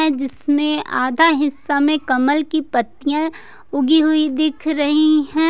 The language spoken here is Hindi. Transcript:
है जिसमें आधा हिस्सा में कमल की पत्तियां उगी हुई दिख रही है।